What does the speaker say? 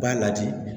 I b'a lajɛ